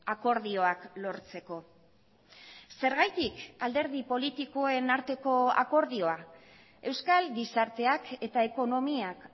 akordioak lortzeko zergatik alderdi politikoen arteko akordioa euskal gizarteak eta ekonomiak